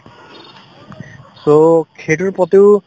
so, সেইটোৰ প্ৰতিও